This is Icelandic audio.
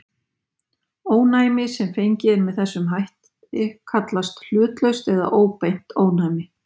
Ónæmi sem fengið er með þessum hætt kallast hlutlaust eða óbeint ónæmi.